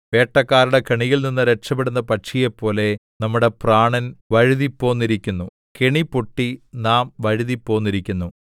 വേട്ടക്കാരുടെ കെണിയിൽനിന്ന് രക്ഷപെടുന്ന പക്ഷിയെപ്പോലെ നമ്മളുടെ പ്രാണൻ വഴുതിപ്പോന്നിരിക്കുന്നു കെണി പൊട്ടി നാം വഴുതിപ്പോന്നിരിക്കുന്നു